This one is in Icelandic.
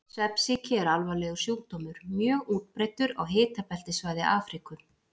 Svefnsýki er alvarlegur sjúkdómur, mjög útbreiddur á hitabeltissvæði Afríku.